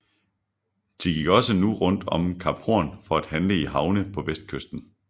De gik også nu rundt om Kap Horn for at handle i havne på vestkysten